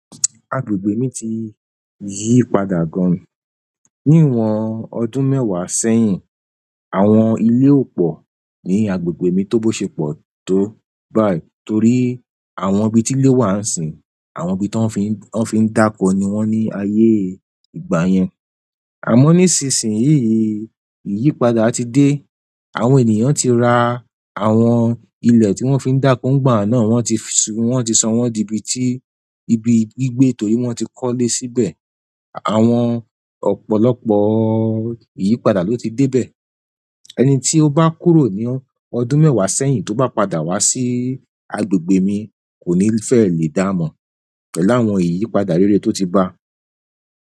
Agbègbè mi ti yípadà gan níwòn ọdún mèwá sèyin. Awòn ilé òpọ ni agbègbè mi tó bó sẹ pọ tó báyi tóri awòn ibi tí ilé wá nsìn, awòn ibi tó fin dáko niwọn ni ayé igbá yèn. Amọ nisin sìn yi, ìyípadà ti dé, àwọn ènìyàn tí rà àwọn ilẹ tí wọn fi ń dako nígbà náà wọn tí sọwọn di ibí gbígbé torí wọn tí kọ lè síbẹ̀. Awòn ọ̀pọ̀lọpọ̀ ìyípadà ló ti dé bè. Ẹni tí o ba kúrò ní ọdún mẹ́wàá sẹ́yìn tó bá padà wá sí àgbègbè mí koni fẹ lé damọ pẹ̀lú àwọn iyipada réré to ti ba.